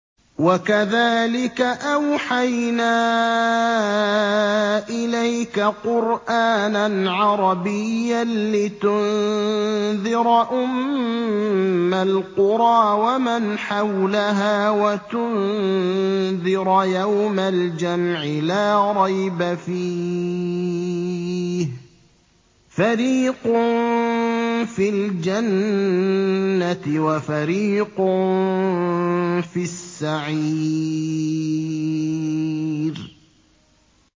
وَكَذَٰلِكَ أَوْحَيْنَا إِلَيْكَ قُرْآنًا عَرَبِيًّا لِّتُنذِرَ أُمَّ الْقُرَىٰ وَمَنْ حَوْلَهَا وَتُنذِرَ يَوْمَ الْجَمْعِ لَا رَيْبَ فِيهِ ۚ فَرِيقٌ فِي الْجَنَّةِ وَفَرِيقٌ فِي السَّعِيرِ